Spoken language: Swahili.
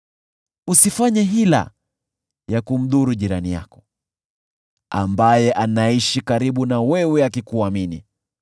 Usifanye hila ya kumdhuru jirani yako, ambaye anaishi karibu na wewe akikuamini.